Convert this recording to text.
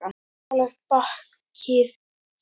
Nálægt bakhlið skálans stóðu tvær minni byggingar.